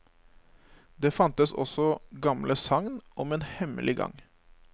Det fantes også gamle sagn om en hemmelig gang.